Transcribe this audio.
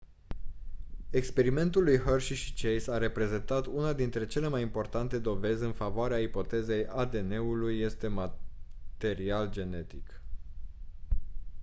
experimentul lui hershey și chase a reprezentat una dintre cele mai importante dovezi în favoarea ipotezei adn-ul este material genetic